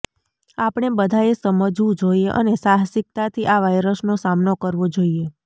આપણે બધાએ સમજવું જોઈએ અને સાહસિકતાથી આ વાઈરસનો સામનો કરવો જોઈએ